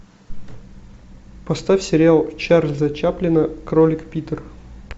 поставь сериал чарльза чаплина кролик питер